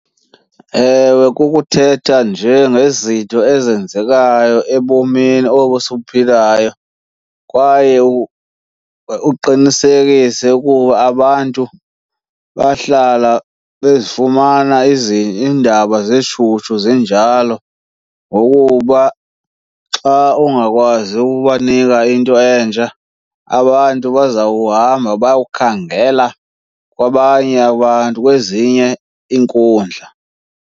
Ewe, kukuthetha nje ngezinto ezenzekayo ebomini obu sibuphilayo kwaye uqinisekise ukuba abantu bahlala bezifumana iindaba zishushu zinjalo. Ngokuba xa ungakwazi ukubanika into entsha abantu bazawuhamba bayokhangela kwabanye abantu, kwezinye iinkundla.